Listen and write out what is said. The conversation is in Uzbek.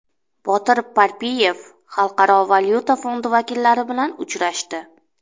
Botir Parpiyev Xalqaro valyuta fondi vakillari bilan uchrashdi.